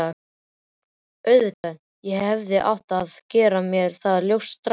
Auðvitað, ég hefði átt að gera mér það ljóst strax.